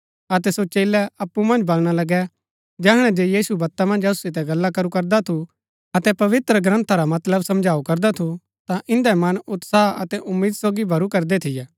अतै सो चेलै अप्पु मन्ज बलणा लगै जैहणै जे यीशु बत्ता मन्ज असु सितै गल्ला करू करदा थू अतै पवित्रग्रन्था रा मतलब समझाऊ करदा थू ता इन्दै मन उत्साह अतै उम्मीद सोगी भरू करदै थियै